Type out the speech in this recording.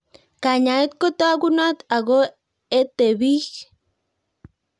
Kanyaet ko tagunot ako ete pich